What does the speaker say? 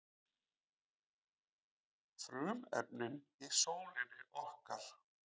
Frumefnin í sólinni okkar.